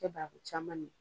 tɛ banaku caman min.